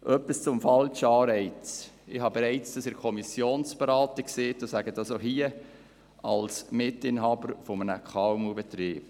Etwas zum falschen Anreiz: Ich habe das bereits in der Kommissionsberatung gesagt und sage es auch hier, als Mitinhaber eines KMU-Betriebs: